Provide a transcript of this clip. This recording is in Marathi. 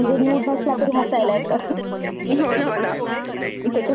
होना होना. त्याच्या फालतू जोक वर पण हसायला येत कधी कधी.